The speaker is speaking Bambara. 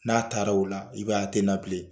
N'a taara o la i b'aye a te na bilen.